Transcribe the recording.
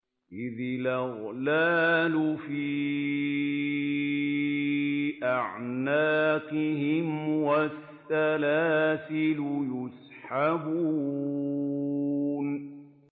إِذِ الْأَغْلَالُ فِي أَعْنَاقِهِمْ وَالسَّلَاسِلُ يُسْحَبُونَ